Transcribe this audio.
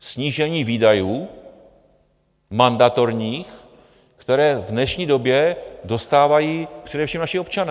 Snížení výdajů mandatorních, které v dnešní době dostávají především naši občané.